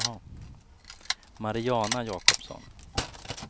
Mariana Jakobsson